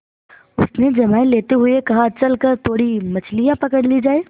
उसने जम्हाई लेते हुए कहा चल कर थोड़ी मछलियाँ पकड़ी जाएँ